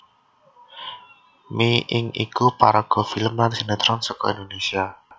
Mi Ing iku paraga film lan sinétron saka Indonésia